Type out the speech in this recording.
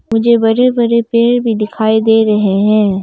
मुझे बड़े बड़े पेड़ में दिखाई दे रहे हैं।